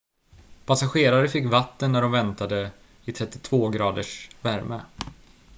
passagerare fick vatten när de väntade i 32-graders värme